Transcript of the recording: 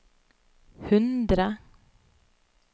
hundre